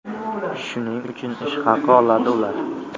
Shuning uchun ish haqi oladi ular.